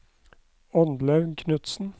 Oddlaug Knudsen